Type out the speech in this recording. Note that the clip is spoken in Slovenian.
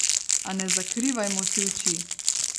A ne zakrivajmo si oči.